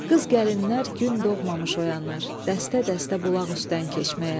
Qız gəlinlər gün doğmamış oyanır, dəstə-dəstə bulaq üstdən keçməyə.